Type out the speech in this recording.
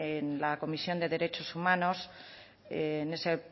en la comisión de derechos humanos en ese